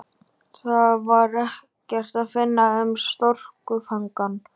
Þar var ekkert að finna um strokufangann.